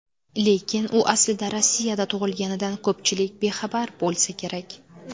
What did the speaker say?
Lekin u aslida Rossiyada tug‘ilganidan ko‘pchilik bexabar bo‘lsa kerak.